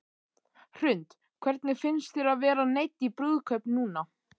Hrund: Hvernig fyndist þér að vera neydd í brúðkaup núna?